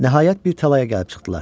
Nəhayət bir talaya gəlib çıxdılar.